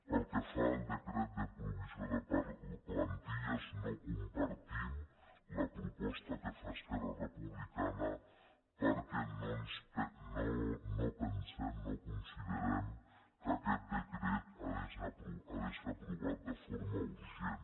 pel que fa al decret de provisió de plantilles no com·partim la proposta que fa esquerra republicana per·què no pensem no considerem que aquest decret hagi de ser aprovat de forma urgent